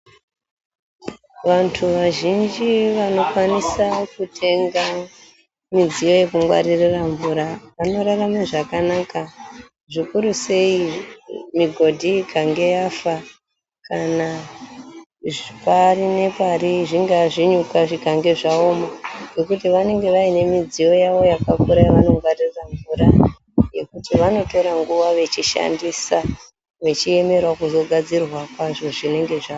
Vantu vazhinji vanokwanisa kutenga midziyo yekungwaririra mvura, vanorarame zvakanaka. Zvikuru sei migodhi ikange yafa kana pari nepari zvingave zvinyuka zvikange zvaoma ,nokuti vanenge vayine midziyo yavo yakakura yavanongwaririra mvura .Yekuti vanotora nguva vechishandisa vechiyemerawo kugadzirwa kwazvo zvinenge zvafa.